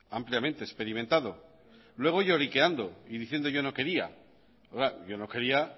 ampliamente experimentado luego lloriqueando y diciendo yo no quería claro yo no quería